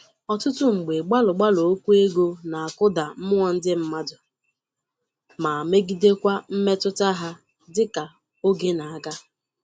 Ọtụtụ mgbe gbalụ-gbalụ okwu ego na-akụda mmuọ ndị mmadụ ma megidekwa mmetụta ha dịka oge na-aga.